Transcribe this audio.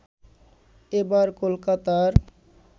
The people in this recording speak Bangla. এবার কলকাতার